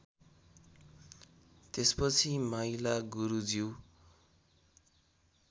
त्यसपछि माइला गुरुज्यू